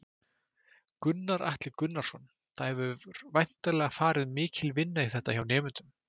Gunnar Atli Gunnarsson: Það hefur væntanlega farið mikil vinna í þetta hjá nemendum?